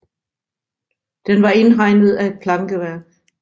Den var indhegnet af et plankeværk